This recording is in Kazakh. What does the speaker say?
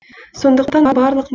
сондықтан барлық